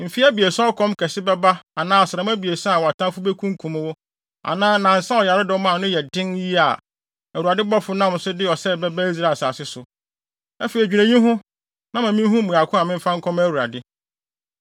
mfe abiɛsa a ɔkɔm kɛse bɛba anaa asram abiɛsa a wʼatamfo bekunkum mo anaa nnansa a ɔyaredɔm a ano yɛ den yiye a, Awurade bɔfo nam so de ɔsɛe bɛba Israel asase so.’ Afei dwene eyi ho, na ma minhu mmuae ko a memfa nkɔma Awurade.”